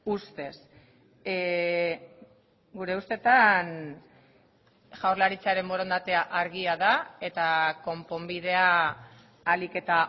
ustez gure ustetan jaurlaritzaren borondatea argia da eta konponbidea ahalik eta